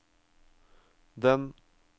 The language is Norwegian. den